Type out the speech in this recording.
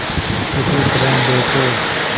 किसी तरह दो तो